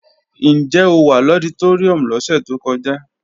Ǹjẹ́ o wà lọditóríùm lọ́sẹ̀ tó kọjá?